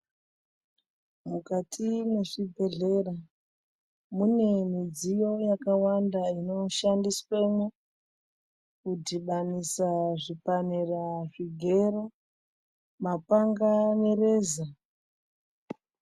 Mukati mwezvibhehlera mune midziyo yakawanda inoshandiswemwo kudhibanisa zvipanera zvigero mapanga nereza.